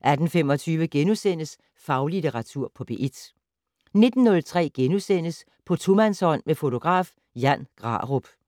18:25: Faglitteratur på P1 * 19:03: På tomandshånd med fotograf Jan Grarup *